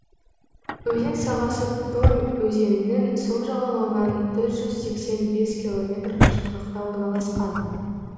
өзен сағасы томь өзенінің сол жағалауынан төрт жүз сексен бес километр қашықтықта орналасқан